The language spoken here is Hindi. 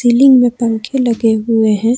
बिल्डिंग में पंखे लगे हुए हैं।